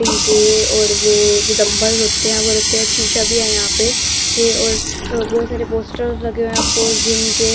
इनके और वो जो डंबर होते हैं वो रखे एक शीशा भी है यहाँ पे ये और बहुत सारे पोस्टर लगे हुए हैं अफकोर्स जिम के --